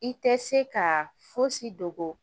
I tɛ se ka fosi dogo